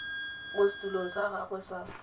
mo setulong sa gagwe sa